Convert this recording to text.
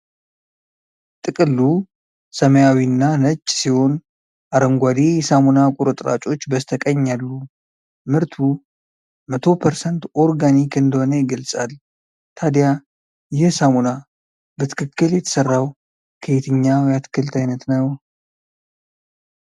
ጥቅሉ ሰማያዊና ነጭ ሲሆን አረንጓዴ የሳሙና ቁርጥራጮች በስተቀኝ አሉ። ምርቱ 100% ኦርጋኒክ እንደሆነ ይገልጻል። ታዲያ ይህ ሳሙና በትክክል የተሰራው ከየትኛው የአትክልት ዓይነት ነው?